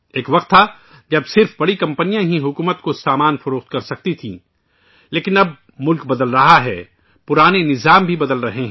ایک وقت تھا ، جب صرف بڑی کمپنیاں ہی حکومت کو سامان فروخت کر سکتی تھیں لیکن اب ملک بدل رہا ہے، پرانے نظام بھی بدل رہے ہیں